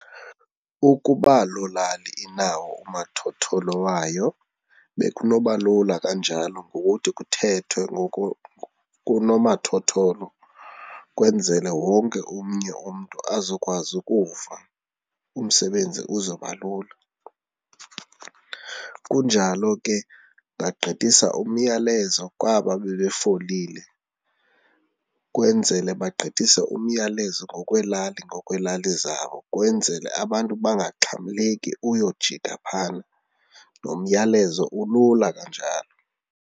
Ukuba loo lali inawo umathotholo wayo bekunoba lula kanjalo, ngokuthi kuthethwe kunomathotholo kwenzele wonke omnye umntu azokwazi ukuva, umsebenzi uzoba lula. Kunjalo ke ungagqithisa umyalezo kwaba bebefolile kwenzela bagqithise umyalezo ngokweelali ngokweelali zabo kwenzele abantu bangaxhamleki uyojika phayana nomyalezo ulula kanjalo.